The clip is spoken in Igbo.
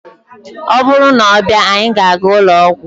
ọ bụrụ na ọ bịa, anyị ga-aga ụlọ ọgwụ